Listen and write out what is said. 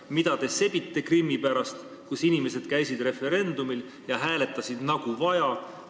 Mida te sebite Krimmi pärast, kus inimesed käisid referendumil ja hääletasid, nagu vaja?